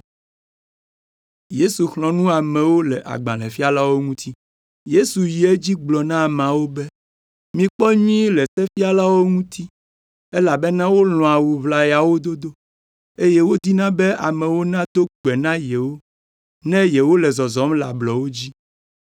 Yesu yi edzi gblɔ na ameawo be, “Mikpɔ nyuie le sefialawo ŋuti, elabena wolɔ̃a awu ʋlayawo dodo, eye wodina be amewo nado gbe na yewo ne yewole zɔzɔm le ablɔwo dzi.